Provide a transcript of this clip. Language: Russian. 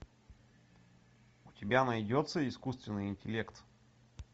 у тебя найдется искусственный интеллект